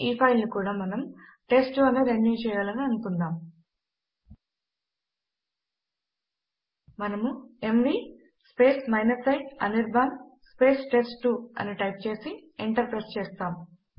ఈ ఫైల్ ను కూడా మనము టెస్ట్2 అని రెన్యూ చేయాలని అనుకుందాం మనము ఎంవీ i అనిర్బాన్ టెస్ట్2 అని టైప్ చేసి ఎంటర్ ప్రెస్ చేస్తాము